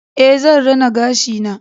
Ae, zan rina gashi na